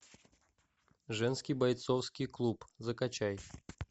женский бойцовский клуб закачай